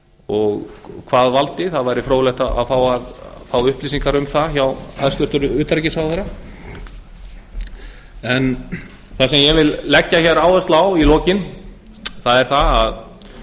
og hvað valdi það væri fróðlegt að fá upplýsingar um það hjá hæstvirtum utanríkisráðherra það sem ég vil leggja hér áherslu á í lokin er það